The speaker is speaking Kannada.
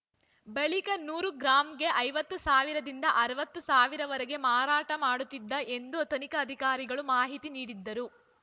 ಬಳಿಕ ನೂರು ಗ್ರಾಂಗೆ ಐವತ್ತು ಸಾವಿರದಿಂದ ಅರವತ್ತು ಸಾವಿರವರೆಗೆ ಮಾರಾಟ ಮಾಡುತ್ತಿದ್ದ ಎಂದು ತನಿಖಾಧಿಕಾರಿಗಳು ಮಾಹಿತಿ ನೀಡಿದರು